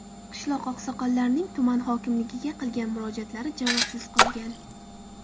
Qishloq oqsoqollarining tuman hokimligiga qilgan murojaatlari javobsiz qolgan.